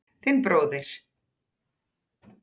Þinn bróðir